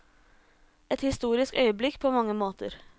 Et historisk øyeblikk på mange måter.